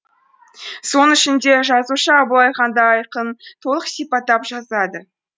соның ішінде жазушы абылай ханды айқын толық сипаттап жазады